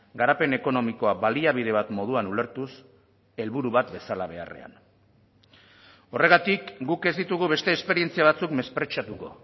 garapen ekonomikoa baliabide bat moduan ulertuz helburu bat bezala beharrean horregatik guk ez ditugu beste esperientzia batzuk mespretxatuko